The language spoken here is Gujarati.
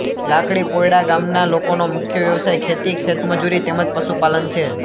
લાકડી પોયડા ગામના લોકોનો મુખ્ય વ્યવસાય ખેતી ખેતમજૂરી તેમ જ પશુપાલન છે